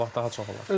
İnşallah daha çox olar.